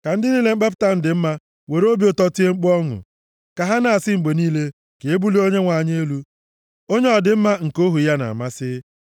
Ka ndị niile mkpepụta m dị mma were obi ụtọ tie mkpu ọṅụ; ka ha na-asị mgbe niile, “Ka e bulie Onyenwe anyị elu, onye ọdịmma nke ohu ya na-amasị.”